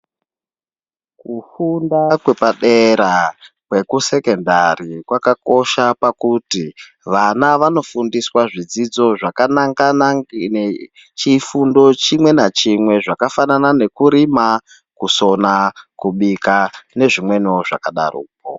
Kufunda kwepapera, kweku Sekondari kwakakosha pakuti vana vano fundiswa zvidzidzo zvaka nangana nechifundo chimwe nachimwe zvakafanana nekurima, kusona, kubika nezvi mweniwo zvakadaro.